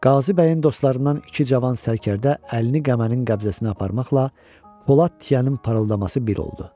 Qazi bəyin dostlarından iki cavan sərkərdə əlini qəmənin qəbzəsinə aparmaqla polad tıyanın parıldaması bir oldu.